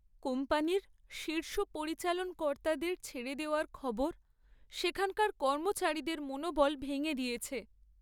কোম্পানির শীর্ষ পরিচালন কর্তাদের ছেড়ে দেওয়ার খবর সেখানকার কর্মচারীদের মনোবল ভেঙে দিয়েছে।